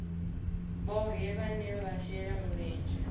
vhohe vhane vha shela mulenzhe